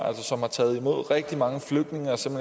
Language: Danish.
og altså taget imod rigtig mange flygtninge og som